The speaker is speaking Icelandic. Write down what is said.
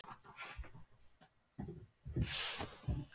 Hödd: Af hverju eruð þið að þessu?